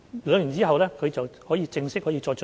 兩年後，他們可以有正式的晉升機會。